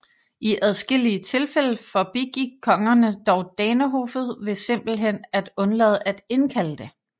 I adskillige tilfælde forbigik kongerne dog danehoffet ved simpelthen at undlade at indkalde det